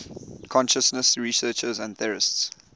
consciousness researchers and theorists